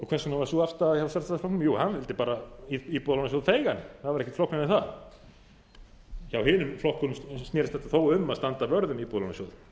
hvers vegna var sú afstaða hjá sjálfstæðisflokknum jú hann vildi bara íbúðalánasjóð feigan það var ekkert flóknara en það hjá hinum flokkunum snerist þetta þó um að standa vörð um íbúðalánasjóð